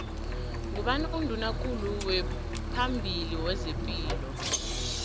ngubani unduna kulu waphambili wezepilo